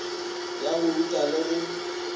ya go ruta le go